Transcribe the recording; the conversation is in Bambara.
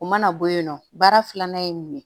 U mana bɔ yen nɔ baara filanan ye mun ye